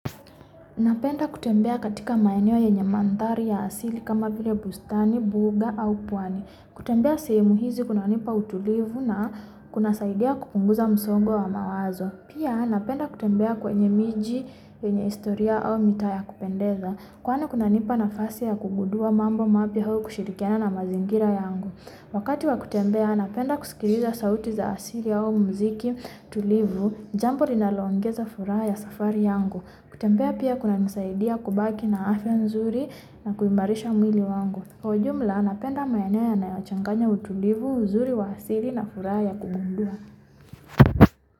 Napenda kutembea katika maeneo yenye mandhari ya asili kama vile bustani, mbuga au pwani. Kutembea sehemu hizi kunanipa utulivu na kunasaidiwa kupunguza msogo wa mawazo. Pia, napenda kutembea kwenye miji, kwenye historia, au mitaa ya kupendeza. Kwani kunanipa nafasi ya kugudua mambo mapya au kushirikiana na mazingira yangu. Wakati wa kutembea, napenda kusikiliza sauti za asili au muziki, tulivu. Jambo linaloongeza furaha ya safari yangu. Kutembea pia kunanisaidia kubaki na afya nzuri na kuimarisha mwili wangu. Kwa ujumla napenda maeneo yanayo changanya utulivu mzuri wa asili na furaha ya kuguduwa.